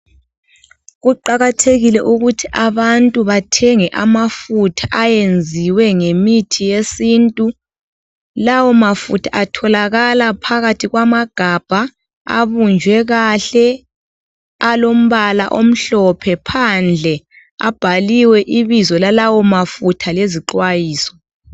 Kuqakathekile ukuthi abantu bathenge amafutha ayenziwe ngemithi yesintu lawo mafutha atholakala phakathi kwegabha abunjwe kahle alombala omhlophe phandle abhaliwe ibizo lalawo mafutha lezixwayiso.